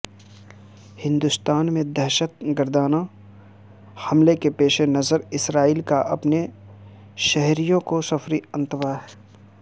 ہندوستان میں دہشت گردانہ حملے کے پیش نظر اسرائیل کا اپنے شہریوں کو سفری انتباہ